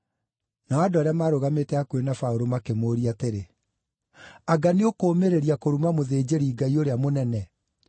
Nao andũ arĩa maarũgamĩte hakuhĩ na Paũlũ makĩmũũria atĩrĩ, “Anga nĩũkũũmĩrĩria kũruma mũthĩnjĩri-Ngai ũrĩa mũnene?”